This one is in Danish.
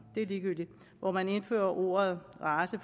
det er ligegyldigt hvor man indførte ordet race